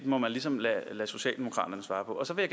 må man ligesom lade socialdemokraterne svare på så vil